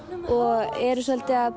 og eru svolítið að